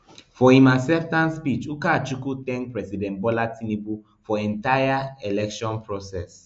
for im acceptance speech ukachukwu thank president bola tinubu for entire election process